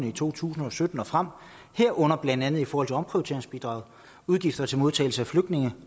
i to tusind og sytten og frem herunder blandt andet for omprioriteringsbidraget udgifter til modtagelse af flygtninge